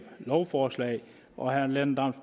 lovforslag og herre lennart